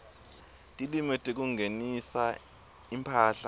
timo tekungenisa imphahla